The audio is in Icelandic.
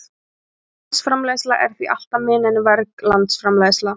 Hrein landsframleiðsla er því alltaf minni en verg landsframleiðsla.